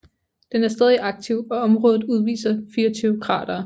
Den er stadig aktiv og området udviser 24 kratere